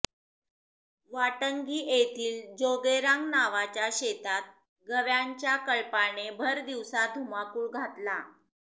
वाटंगी येथील जोगेरांग नावाच्या शेतात गव्यांच्या कळपाने भरदिवसा धुमाकूळ घातला